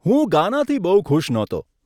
હું ગાનાથી બહુ ખુશ નહોતો.